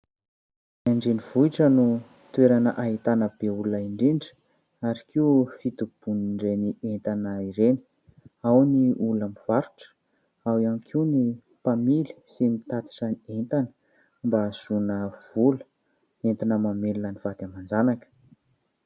An-dRenivohitra no toerana ahitana be olona indrindra ary koa fitobian'ireny entana ireny ; ao ny olona mivarotra, ao ihany koa ny mpamily sy mitatitra entana mba ahazoana vola hoentina mamelona ny vady aman-janaka.